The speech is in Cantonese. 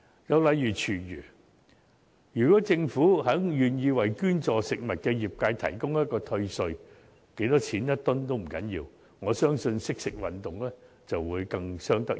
又例如廚餘，如果政府願意為捐助食物的業界提供退稅，每噸值多少錢也不要緊，我相信"惜食運動"會更有成效。